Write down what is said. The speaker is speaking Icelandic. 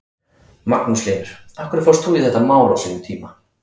Magnús Hlynur: Af hverju fórst þú í þetta mál á sínum tíma?